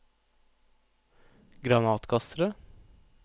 granatkastere